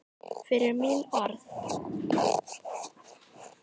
Fyrir mín orð.